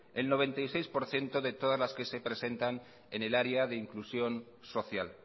el noventa y seis por ciento de todas las que se presentan en el área de la inclusión social